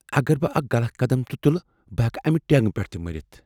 اگر بہٕ اکھ غلط قدم تہِ تُلہٕ، بہٕ ہیٛکہٕ امہِ ٹیٚنگہ پٮ۪ٹھٕ تہِ مٔرتھ۔